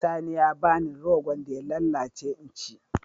Sani ya ba ni rogon da ya lallace in ci.